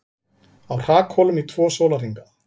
Á hrakhólum í tvo sólarhringa